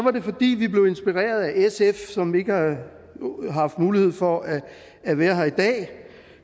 er det fordi vi blev inspireret af sf som ikke har haft mulighed for at at være her i dag